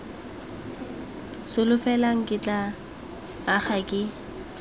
solofela ke tla aga ke